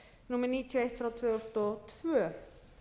númer níutíu og eitt tvö þúsund og tvö